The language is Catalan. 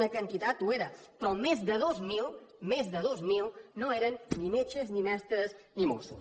una quantitat ho era però més de dos mil més de dos mil no eren ni metges ni mestres ni mossos